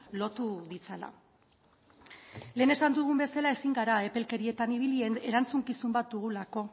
lotu ditzala lehen esan dugun bezala ezin gara epelkerietan ibili erantzukizun bat dugulako